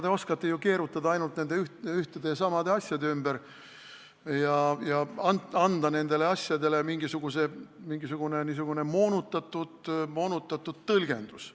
Te oskate ju keerutada ainult nende ühtede ja samade asjade ümber ja anda nendele asjadele mingisugune moonutatud tõlgendus.